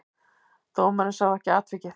Dómarinn sá ekki atvikið.